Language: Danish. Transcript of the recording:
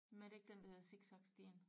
Men er det ikke den der hedder zigzag stien?